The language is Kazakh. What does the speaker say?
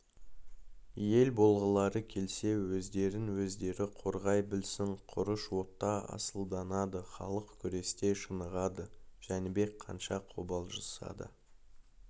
ел болғылары келсе өздерін-өздері қорғай білсін құрыш отта асылданады халық күресте шынығады жәнібек қанша қобалжыса да